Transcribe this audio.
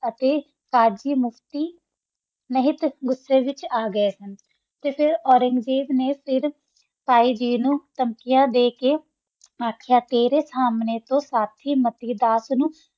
ਅਸੀਂ ਅਜੇ ਹੀ ਮੋਕਤੀ ਵਿਤਚ ਆ ਗਯਾ ਸਨ ਤਾ ਫਿਰ ਓਰਾਂਗ੍ਜ਼ਾਬ ਨਾ ਫਿਰ ਤਯ ਗੀ ਨੂ ਤਾਮ੍ਕਿਆ ਦਾ ਕਾ ਤੇਰਾ ਸੰਨਾ ਸਾਥੀ ਸੰਗੀ ਵਾਰ ਆ